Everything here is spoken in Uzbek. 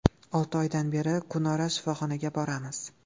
Olti oydan beri kunora shifoxonaga boramiz.